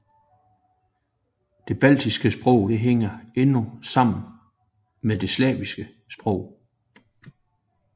De baltiske sprog hænger endnu sammen med de slaviske sprog